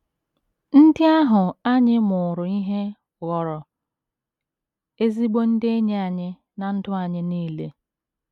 Ndị ahụ anyị mụụrụ ihe ghọrọ ezigbo ndị enyi anyị ná ndụ anyị nile.